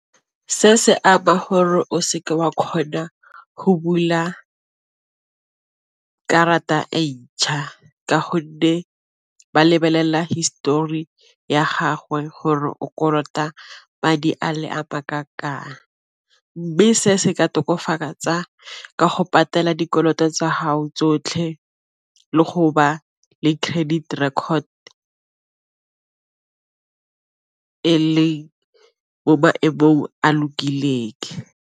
Se se gore o seke wa kgona go bula karata e ntšha ka gonne ba lebelela histori ya gagwe gore o kolota madi a le ma , mme se se ka tokafatsa ka go patela dikoloto tsa hao tsotlhe le le credit record e leng mo maemong a lokileng.